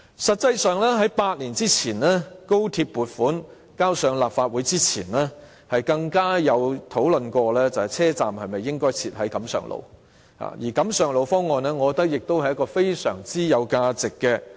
實際上，在8年前，即高鐵撥款提交立法會前，更曾經討論車站應否設在錦上路，而我覺得錦上路方案亦非常值得研究。